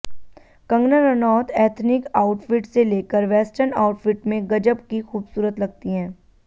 Kangana Ranaut ethnic outfit से लेकर western outfit में गजब की खूबसूरत लगती हैं